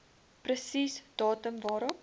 presies datum waarop